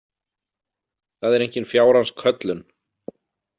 Það er engin fjárans köllun.